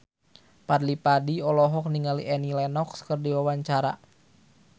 Fadly Padi olohok ningali Annie Lenox keur diwawancara